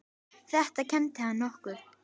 Þetta kenndi hann okkur.